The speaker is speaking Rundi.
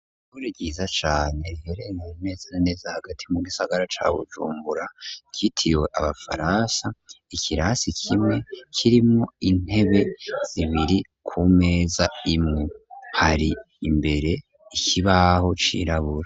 Ishure ryiza cane riherereye neza na neza hagati mu gisagara ca Bujumbura ryitiriwe abafaransa ikirase kimwe kirimwo intebe zibiri ku meza imwe hari imbere ikibaho cirabura.